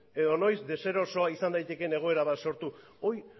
edo noiz deserosoa izan daitekeen egoera bat sortu hori